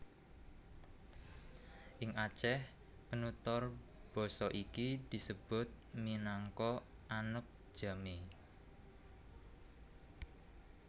Ing Aceh penutur basa iki disebut minangka Aneuk Jamee